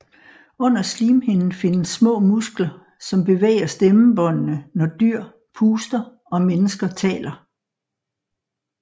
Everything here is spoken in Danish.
Under slimhinden findes små muskler som bevæger stemmebåndene når dyr puster og mennesker taler